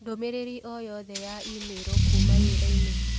ndũmĩrĩri o yothe ya i-mīrū kuuma wĩra-inĩ